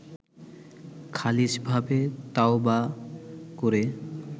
খালিছভাবে তাওবাহ করে